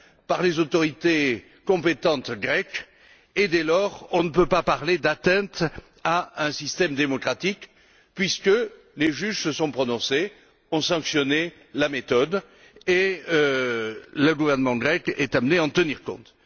par les autorités compétentes grecques et, dès lors, on ne peut pas parler d'atteinte à un système démocratique puisque les juges se sont prononcés, ont sanctionné la méthode, et le gouvernement grec est amené à en tenir compte.